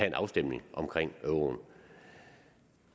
en afstemning om euroen